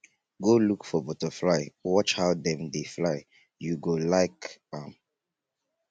go look for butterfly watch how dem dey fly you go like am